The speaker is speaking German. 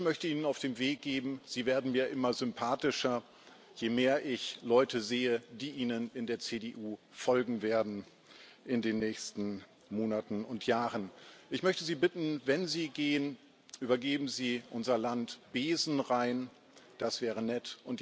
Ich möchte Ihnen auf den Weg geben Sie werden mir immer sympathischer, je mehr ich Leute sehe, die Ihnen in der CDU in den nächsten Monaten und Jahren folgen werden. Ich möchte Sie bitten, wenn Sie gehen Übergeben Sie unser Land besenrein, das wäre nett.